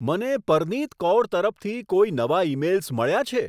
મને પરનીત કૌર તરફથી કોઈ નવા ઈમેઈલ્સ મળ્યાં છે